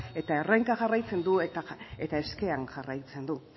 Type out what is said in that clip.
eta erronka jarraitzen du eta eskean jarraitzen du